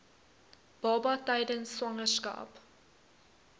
baba tydens swangerskap